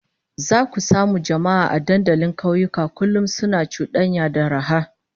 Zaka samu jama'a a dandalin kauyuka kullum suna cudanya da raha